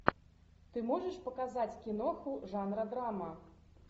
ты можешь показать киноху жанра драма